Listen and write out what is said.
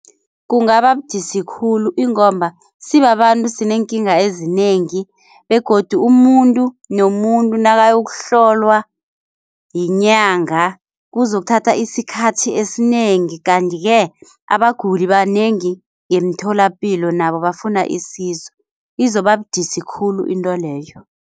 Kungaba budisi khulu ingomba sibabantu sineenkinga ezinengi begodu umuntu nomuntu nakayokuhlolwa yinyanga kuzokuthatha isikhathi esinengi. Kanti-ke abaguli banengi ngemtholapilo nabo bafuna isizo izobabudisi khulu intweleyo.